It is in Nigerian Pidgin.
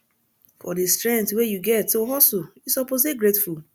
for di strength wey you get to hustle you suppose dey grateful